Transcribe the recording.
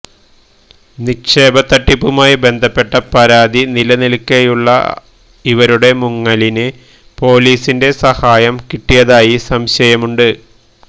നിക്ഷേപത്തട്ടിപ്പുമായി ബന്ധപ്പെട്ട പരാതി നിലനില്ക്കെയുള്ള ഇവരുടെ മുങ്ങലിന് പൊലീസിന്റെ സാഹായം കിട്ടിയതായി സംശയമുണ്ട്